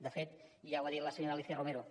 de fet ja ho ha dit la senyora alícia romero